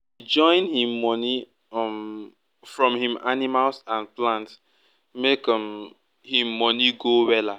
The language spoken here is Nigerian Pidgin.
e join him money um from him animals and plants make um him money go wella